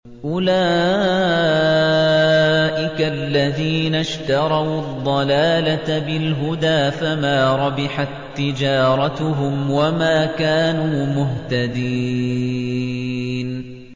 أُولَٰئِكَ الَّذِينَ اشْتَرَوُا الضَّلَالَةَ بِالْهُدَىٰ فَمَا رَبِحَت تِّجَارَتُهُمْ وَمَا كَانُوا مُهْتَدِينَ